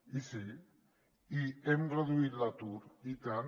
i sí i hem reduït l’atur i tant